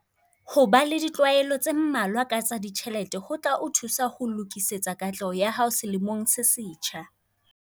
Ho ba le ditlwaelo tse mmalwa ka tsa ditjhelete ho tla o thusa ho lokisetsa katleho ya hao selemong se setjha.